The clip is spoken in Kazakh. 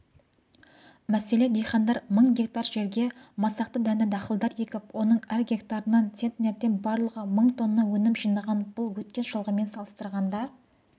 мәселен диқандар мың гектар жерге масақты дәнді-дақылдар егіп оның әр гектарынан центнерден барлығы мың тонна өнім жинаған бұл өткен жылғымен салыстырғанда